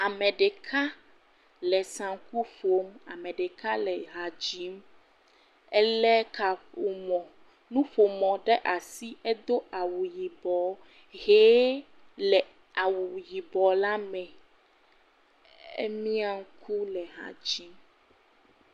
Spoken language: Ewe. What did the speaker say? Ame ɖeka le saŋku ƒom. Ame ɖeka le ha dzim. Elé kaƒomɔ, nuƒomɔ ɖe asi. Edo awu yibɔɔ, ʋee le awu yibɔ la me. Emiã ŋku le ha dzim.